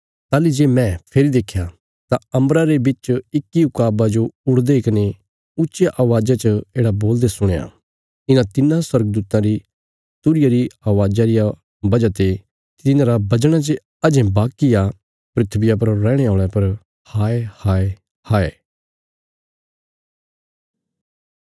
ताहली जे मैं फेरी देख्या तां अम्बरा रे बिच इक्की ऊकाबा जो उड़दे कने ऊच्चिया अवाज़ा च येढ़ा बोलदे सुणया इन्हां तिन्नां स्वर्गदूतां री तुरहिया री अवाज़ा रिया वजह ते तिन्हांरा बजणा जे अजें बाकी आ धरतिया पर रैहणे औल़यां पर हाय हाय हाय